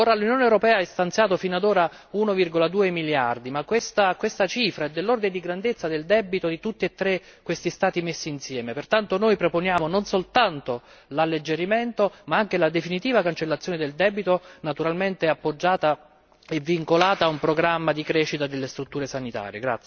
Ora l'Unione europea ha stanziato fino ad ora 1,2 miliardi ma questa cifra è dell'ordine di grandezza del debito di tutti e tre questi Stati messi insieme pertanto noi proponiamo non soltanto l'alleggerimento ma anche la definitiva cancellazione del debito, naturalmente appoggiata e vincolata ad un programma di crescita delle strutture sanitarie.